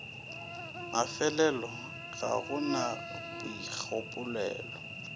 mafelelo ga go na boikgopolelo